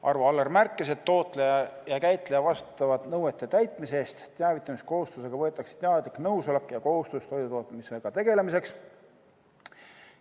Arvo Aller märkis, et tootja ja käitleja vastutavad nõuete täitmise eest, teavitamiskohustusega võetakse teadlik nõusolek ja kohustus toidutootmisega tegelemiseks.